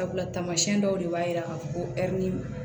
Sabula tamasiyɛn dɔw de b'a yira ka fɔ ko